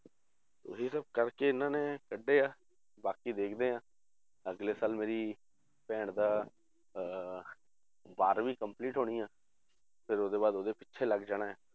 ਉਹੀ ਤੇ ਕਰਕੇ ਇਹਨਾਂ ਨੇ ਕੱਢੇ ਆ, ਬਾਕੀ ਦੇਖਦੇ ਹਾਂ ਅਗਲੇ ਸਾਲ ਮੇਰੀ ਭੈਣ ਦਾ ਅਹ ਬਾਰਵੀਂ complete ਹੋਣੀ ਆ, ਫਿਰ ਉਹਦੇ ਬਾਅਦ ਉਹਦੇ ਪਿੱਛੇ ਲੱਗ ਜਾਣਾ ਹੈ